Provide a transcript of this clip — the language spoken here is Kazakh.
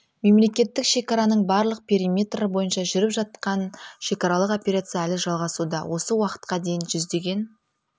мемлекеттік шекараның барлық периметрі бойынша жүріп жақан шекаралық операция әлі жалғасуда осы уақытқа дейін жүздеген